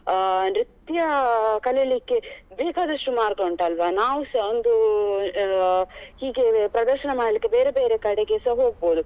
ಅಹ್ ನೃತ್ಯ ಕಲೀಲಿಕ್ಕೆ ಬೇಕಾದಷ್ಟು ಮಾರ್ಗ ಉಂಟಲ್ವ ನಾವು ಸ ಒಂದು ಅಹ್ ಹೀಗೆ ಪ್ರದರ್ಶನ ಮಾಡಿಲಿಕ್ಕೆ ಬೇರೆ ಬೇರೆ ಕಡೆಗೆ ಸ ಹೋಗ್ಬೋದು